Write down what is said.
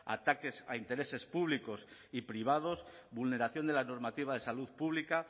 ataques a intereses públicos y privados vulneración de la normativa de salud pública